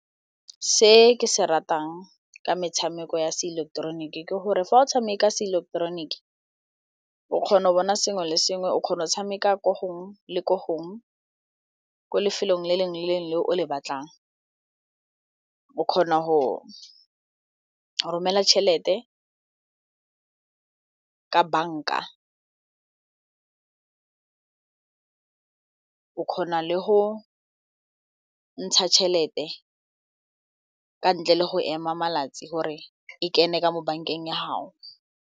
Se ke se ratang ka metshameko ya seileketeroniki ke gore fa o tshameka seileketeroniki o kgona go bona sengwe le sengwe o kgona go tshameka ko gongwe le ko gongwe ko lefelong le lengwe le lengwe le o le batlang, o kgona go romela tšhelete ka banka, o kgona le go ntsha tšhelete ka ntle le go ema malatsi gore e kene ka mo bankeng ya gao.